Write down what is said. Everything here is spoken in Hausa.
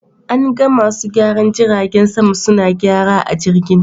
An ga masu gyaran jiragen sama suna gyara a jirgin.